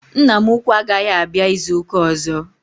Nna m ukwuu agaghị abịa izu ụka ọzọ.